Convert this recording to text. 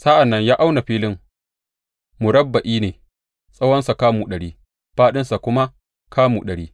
Sa’an nan ya auna filin, murabba’i ne, tsawonsa kamu ɗari, fāɗinsa kuma kamu ɗari.